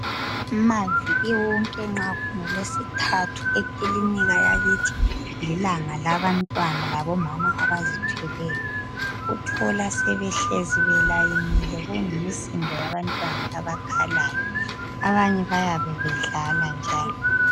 Maviki wonke nxa kungolwesithathu ekilinika yakithi lilanga labantwana labo mama abazithweleyo uthola sebehlezi belayinile kuyimisindo yabantwana abakhalayo abanye bayabe bedlala njalo